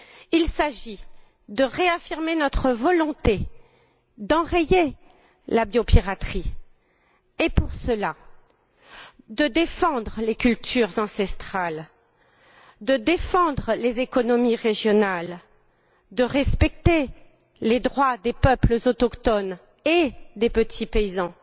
Il s'agit de réaffirmer notre volonté d'enrayer la biopiraterie et, pour cela, de défendre les cultures ancestrales, de défendre les économies régionales, de respecter les droits des peuples autochtones et des petits paysans